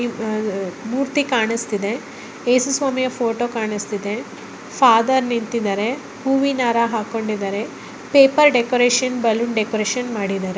ಮೂರ್ತಿ ಕಾಣಸ್ತಿದೆ ಯೇಸು ಸ್ವಾಮಿಯ ಫೋಟೋ ಫಾದರ್ ನಿಂತಿದ್ದಾರೆ ಹೂವಿನ ಹಾರ ಹಾಕ್ಕೊಂಡಿದ್ದಾರೆ.